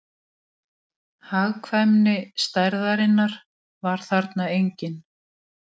Hagkvæmni stærðarinnar var þarna engin